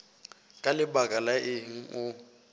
ka lebaka la eng o